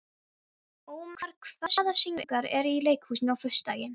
Ómar, hvaða sýningar eru í leikhúsinu á föstudaginn?